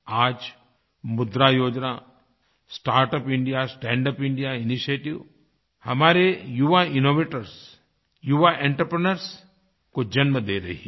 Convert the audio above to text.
आज Mudra Yojana startup India stand up India initiatives हमारे युवा इनोवेटर्स युवा एंटरप्रेन्योर्स को जन्म दे रही है